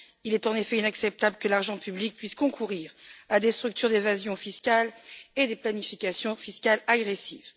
Il est, en effet, inacceptable que l'argent public puisse concourir à des structures d'évasion fiscale et à des planifications fiscales agressives.